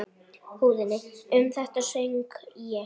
Um þetta söng ég